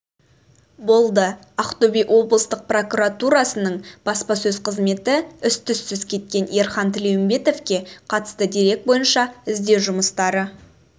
болды ақтөбе облыстық прокуратурасының баспасөз қызметі із-түзсіз кеткен ерхан тілеумбетовке қатысты дерек бойынша іздеу жұмыстары